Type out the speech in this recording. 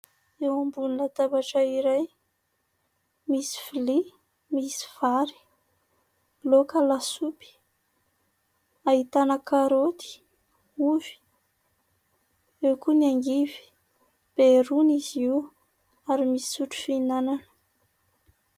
Eo ambony latabatra iray misy vilia misy vary, laoka lasopy ahitana karoty, ovy eo koa ny angivy. Be rony izy io ary misy sotro fihinanana.